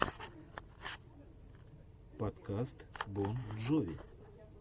подкаст бон джови